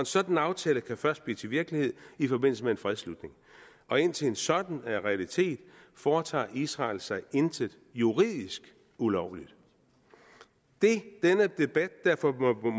sådan aftale kan først blive til virkelighed i forbindelse med en fredsslutning og indtil en sådan er realiteten foretager israel sig intet juridisk ulovligt det denne debat derfor